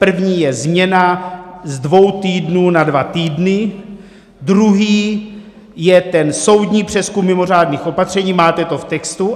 První je změna z dvou týdnů na dva týdny, druhý je ten soudní přezkum mimořádných opatření, máte to v textu.